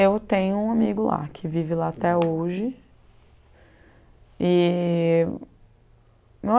Eu tenho um amigo lá, que vive lá até hoje. E